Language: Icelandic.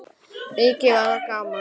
Mikið var það gaman.